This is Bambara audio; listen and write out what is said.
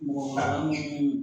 Mɔgɔ minnu